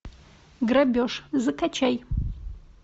грабеж закачай